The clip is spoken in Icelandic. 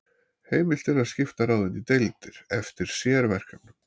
Heimilt er að skipta ráðinu í deildir eftir sérverkefnum.